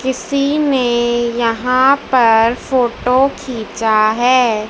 किसी ने यहां पर फोटो खींचा है।